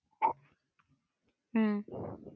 അഹ്